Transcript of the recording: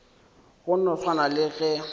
go no swana le ge